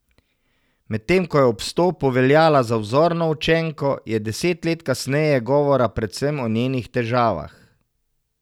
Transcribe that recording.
Medtem ko je ob vstopu veljala za vzorno učenko, je deset let kasneje govora predvsem o njenih težavah.